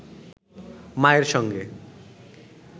মায়ের সঙ্গে